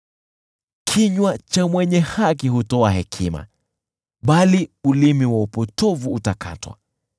Kinywa cha mwenye haki hutoa hekima, bali ulimi wa upotovu utakatwa.